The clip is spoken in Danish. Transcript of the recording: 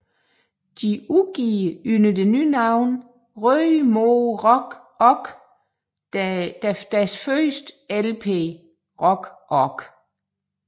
De udgiver under det nye navn Røde Mor Rok Ork deres første LP Rok Ork